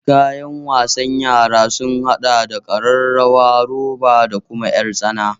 Kayan wasan yara sun haɗa da ƙararrawar roba da kuma ƴartsana